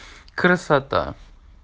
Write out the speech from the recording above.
красота